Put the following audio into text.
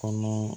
Kɔnɔ